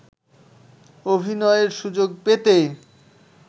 অভিনয়ের সুযোগ পেতে